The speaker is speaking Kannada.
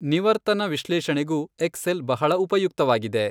ನಿವರ್ತನ ವಿಶ್ಲೇಷಣೆಗೂ ಎಕ್ಸೆಲ್ ಬಹಳ ಉಪಯುಕ್ತವಾಗಿದೆ.